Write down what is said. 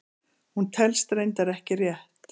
hún telst reyndar ekki rétt!